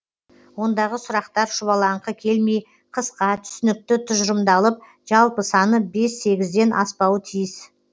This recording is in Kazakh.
ондағы сұрақтар шұбалаңқы келмей қысқа түсінікті тұжырымдалып жалпы саны бес сегізден аспауы тиіс